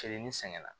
Kelen ni sɛgɛn na